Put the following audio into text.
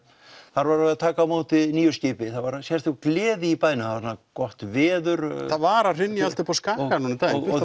þar var verið að taka á móti nýju skipi og það var sérstök gleði í bænum það var gott veður og það var að hrynja allt uppi á Skaga núna um daginn og